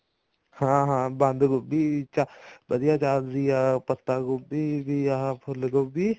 ਹਾਂ ਹਾਂ ਬੰਦ ਗੋਬੀ ਵਧੀਆ ਚੱਲਦੀ ਆ ਪੱਤਾ ਗੋਬੀ ਵੀ ਆ ਫੁੱਲ ਗੋਬੀ